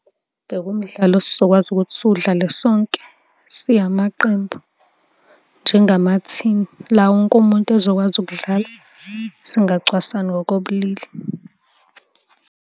Bekuwumdlalo esizokwazi ukuthi siwudlale sonke siyamaqembu njengama-team la wonke umuntu ezokwazi ukudlala singacwasani ngokobulili.